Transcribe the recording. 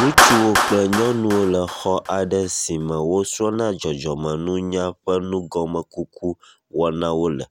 Ŋutsuwo kple nyɔnuwo le xɔ aɖe si me wosrɔ̃na dzɔdzɔmenuny ƒe nugɔmekuku wɔnawo le.